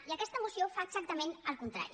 i aquesta moció fa exactament el contrari